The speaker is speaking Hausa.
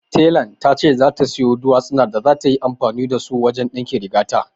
Telan ta ce za ta sayo dutsinan da za ta yi amfani da su wajen yin ɗinkin rigata